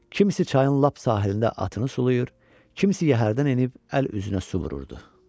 Kimsə çayın lap sahilində atını sulayır, kimsə yəhərdən enib əl üzünə su vururdu.